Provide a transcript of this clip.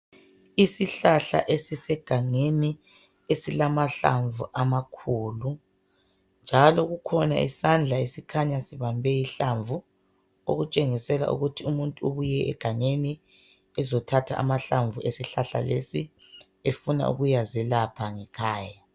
Isihlahla esisegangeni esilamahlamvu amakhulu njalo kukhona isandla esikhanya sibambe ihlamvu. Okutshengisela ukuthi umuntu ubuye egangeni ezothatha amahlamvu esihlahla lesi efuna ukuyazelapha ngekhanya.